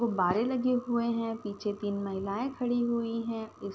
गुब्बारे लगे हुए हैं। पीछे तीन महिलाएं खड़ी हुई हैं। उस --